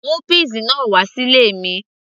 mú peas náà wà sí ilé mi